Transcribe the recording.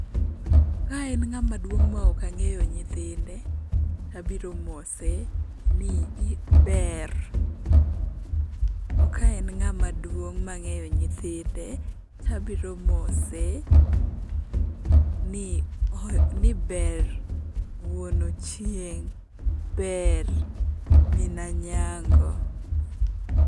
Ka en ng'ama duong' ma ok ang'eyo nyithinde to abiro mose ni ber, to ka en ng'ama duong' ma ang'eyo nyithinde to abiro mose ni ber wuon Ochieng', ber min Anyango.